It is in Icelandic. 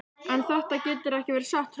En þetta getur ekki verið satt hrópaði Örn.